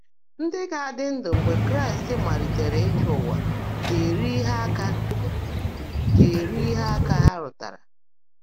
Ndị́ gá-ádị́ ndụ́ mgbe Kráịst máliitèèré ị́chị́ ụ́wà gá-èrí íhe áká gá-èrí íhe áká há rụ́táárá.